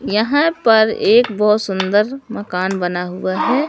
यहां पर एक बहुत सुंदर मकान बना हुआ है।